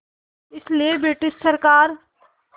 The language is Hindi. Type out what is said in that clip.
इसलिए ब्रिटिश सरकार